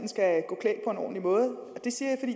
gå en ordentlig måde det siger